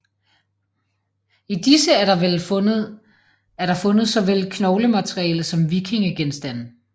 I disse er der fundet såvel knoglemateriale som vikingegenstande